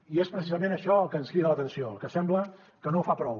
i és precisament això el que ens crida l’atenció que sembla que no ho fa prou